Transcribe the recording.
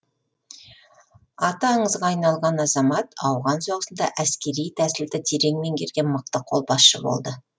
аты аңызға айналған азамат ауған соғысында әскери тәсілді терең меңгерген мықты қолбасшы болды